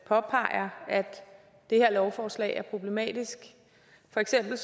påpeger at det her lovforslag er problematisk for eksempel